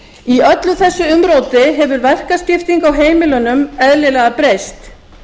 í öllu þessu umróti hefur verkaskipting á heimilunum eðlilega breyst